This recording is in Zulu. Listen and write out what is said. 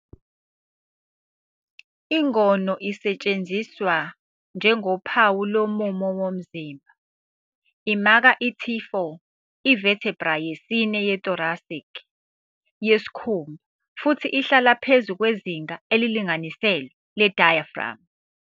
Ingono isetshenziswa njengophawu lomumo womzimba. Imaka i-T4, i-vertebra yesine ye-thoracic, yesikhumba futhi ihlala phezu kwezinga elilinganiselwe le-diaphragm.